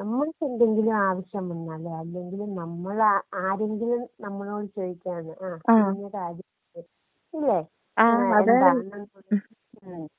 നമ്മക്ക് എന്തെങ്കിലും ആവശ്യം വന്നാല് അല്ലെങ്കിൽ നമ്മള് ആരെങ്കിലും നമ്മളോട് ചോദിക്കാണ് *നോട്ട്‌ ക്ലിയർ* ഇല്ലേ *നോട്ട്‌ ക്ലിയർ*.